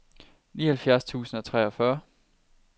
nioghalvfjerds tusind og treogfyrre